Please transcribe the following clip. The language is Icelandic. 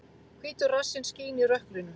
Hvítur rassinn skín í rökkrinu.